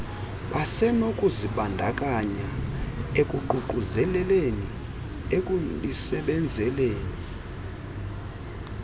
basenokuzibandakanya ekuququzeleleni ekulisebenzeleni